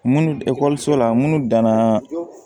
Munnu la munnu danna